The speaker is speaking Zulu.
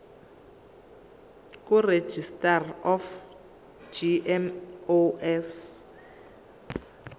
kuregistrar of gmos